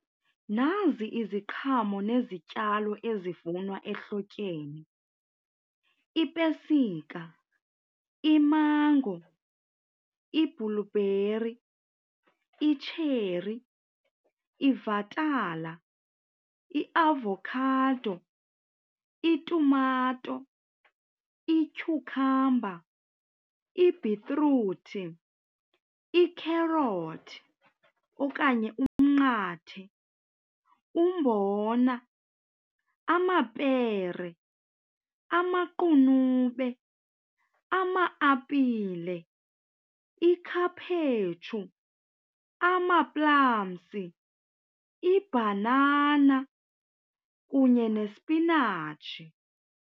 Nazi iziqhamo nezityalo ezivunwa ehlotyeni, ipesika, imango, ibhulubheri, itsheri, ivatala, iavokhado, itumato, ityhukhamba, ibhitruthi, ikherothi okanye umnqathe, umbona, amapere, amaqunube, ama-apile, ikhaphetshu, amaplamzi, ibhanana kunye nesipinatshi.